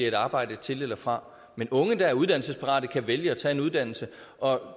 et arbejde til eller fra men unge der er uddannelsesparate kan vælge at tage en uddannelse og